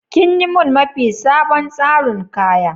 Kin yi mun mafi sabon tsarin kaya?